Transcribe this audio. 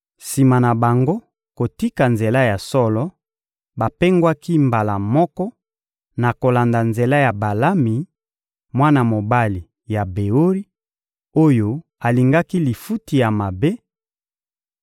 Sima na bango kotika nzela ya solo, bapengwaki mbala moko na kolanda nzela ya Balami, mwana mobali ya Beori, oyo alingaki lifuti ya mabe;